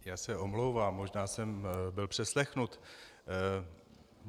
Já se omlouvám, možná jsem byl přeslechnut.